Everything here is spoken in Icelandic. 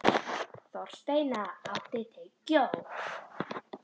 Þorsteina, áttu tyggjó?